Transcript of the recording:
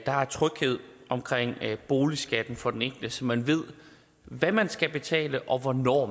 er tryghed omkring boligskatten for den enkelte så man ved hvad man skal betale og hvornår